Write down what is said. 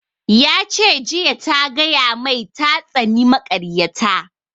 Ya ce jiya ta gaya mai ta tsani makaryata